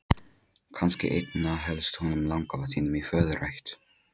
Kannski einna helst honum langafa þínum í föðurætt.